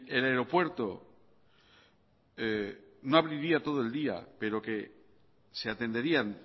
el aeropuerto no abriría todo el día pero que se atenderían